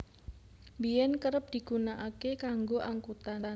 Biyen kerep digunakake kanggo angkutan